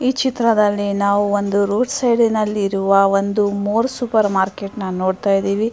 ಈ ಚಿತ್ರದಲ್ಲಿ ನಾವು ಒಂದು ರೋಡ್ ಸೈಡಿ ನಲ್ಲಿ ಇರುವ ಒಂದು ಮೋರ್ ಸೂಪರ್ ಮಾರ್ಕೆಟ್ ನ್ನ ನೋಡ್ಥ ಇದ್ದಿವಿ .